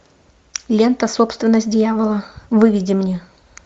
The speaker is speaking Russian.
лента собственность дьявола выведи мне